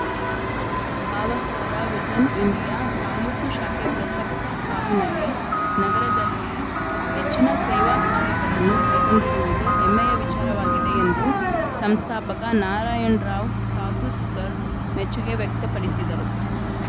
ಭಾವಸಾರ vision India taluk ಶಾಖೆ ಪ್ರಸಕ್ತ ಸಾಲಿನಲ್ಲಿ ನಗರದಲ್ಲಿ ಹೆಚ್ಚಿನ ಸೇವಾ ಕಾರ್ಯಗಳನ್ನು ಕೈಗೊಂಡಿರುವುದು ಹೆಮ್ಮೆಯ ವಿಚಾರವಾಗಿದೆ ಎಂದು ಸಂಸ್ಥಾಪಕ ನಾರಾಯಣ್ ರಾವ್‌ ತಾತುಸ್ಕರ್‌ ಮೆಚ್ಚುಗೆ ವ್ಯಕ್ತಪಡಿಸಿದರು